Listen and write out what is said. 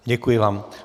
Děkuji vám.